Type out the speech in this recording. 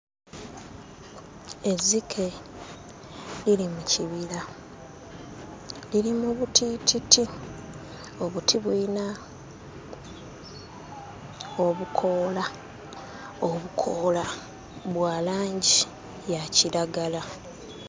Ezzike liri mu kibira liri mu butiititi, obuti buyina obukoola, obukoola bwa langi ya kiragala.